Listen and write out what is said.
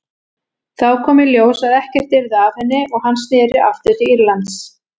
Þá kom í ljós að ekkert yrði af henni og hann sneri aftur til Írlands.